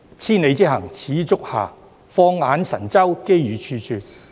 千里之行，始於足下。放眼神州，機遇處處。